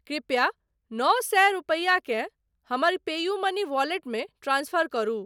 कृपया नओ सए रूपैया केँ हमर पेयूमनी वॉलेटमे ट्रांसफर करू।